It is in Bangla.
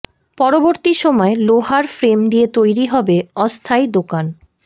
পরবর্তী সময়ে লোহার ফ্রেম দিয়ে তৈরি হবে অস্থায়ী দোকান